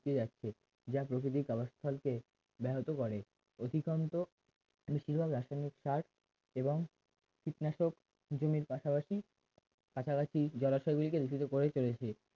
যাচ্ছে যা প্রকৃতিক আবাস্থলকে ব্যাহত করে অধিকান্ত বেশিরভাগ রাসায়নিক সার এবং কীটনাশক জমির পাশাপাশি কাছাকাছি জলাশয়গুলিকে লিখিত করে চলেছে